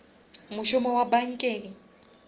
mošomo wa bankeng